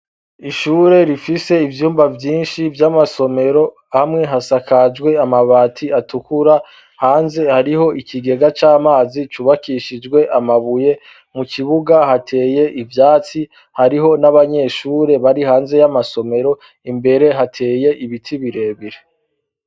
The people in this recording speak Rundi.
Ishure rifise ivyumba vyinshi vy'amasomero, hamwe hasakajwe amabati atukura, hanze hariho ikigega c'amazi cubakishijwe amabuye, mu kibuga hateye ivyatsi hariho n'abanyeshure bari hanze y'amasomero, imbere hateye ibiti birebire.